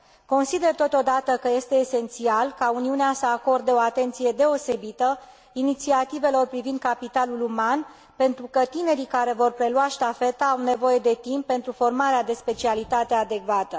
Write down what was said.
Consider, totodată, că este esențial ca Uniunea să acorde o atenție deosebită inițiativelor privind capitalul uman, pentru că tinerii care vor prelua ștafeta au nevoie de timp pentru formarea de specialitate adecvată.